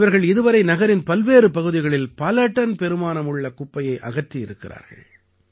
இவர்கள் இதுவரை நகரின் பல்வேறு பகுதிகளில் பல டன் பெறுமானமுள்ள குப்பையை அகற்றியிருக்கிறார்கள்